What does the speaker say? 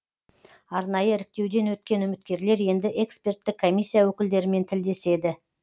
арнайы іріктеуден өткен үміткерлер енді эксперттік комиссия өкілдерімен тілдеседі